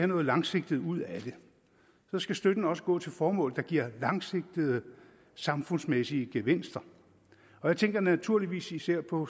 noget langsigtet ud af det så skal støtten også gå til formål der giver langsigtede samfundsmæssige gevinster jeg tænker naturligvis især på